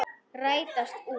Rætast úr?